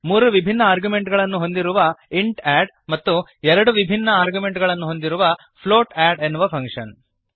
ಮೂರು ವಿಭಿನ್ನ ಆರ್ಗ್ಯುಮೆಂಟ್ಗಳನ್ನು ಹೊಂದಿರುವ ಇಂಟ್ add ಮತ್ತು ಎರಡು ವಿಭಿನ್ನ ಆರ್ಗ್ಯುಮೆಂಟ್ಗಳನ್ನು ಹೊಂದಿರುವ ಫ್ಲೋಟ್ add ಎನ್ನುವ ಫಂಕ್ಶನ್